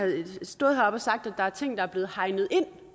stået heroppe og sagt at der er ting der er blevet hegnet ind